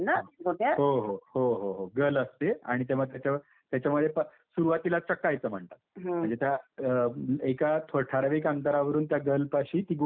हो हो हो हो, गल असते आणि तेव्हा त्याच्यावर त्याच्यामध्ये सुरुवातीला चकायचं म्हणतात म्हणजे त्या अम एका ठराविक अंतरावरून त्या गल पाशी ती गोटी टाकायची.